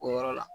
O yɔrɔ la